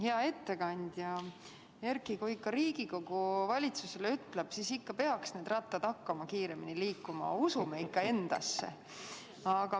Hea ettekandja Erki, kui ikka Riigikogu valitsusele ütleb, siis peaks need rattad hakkama kiiremini liikuma, usume ikka endasse!